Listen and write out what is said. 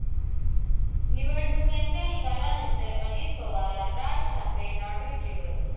निवडणुकांच्या निकालानंतर Ajit Pawar, Raj Thackeray not reachable